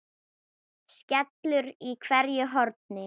skellur í hverju horni.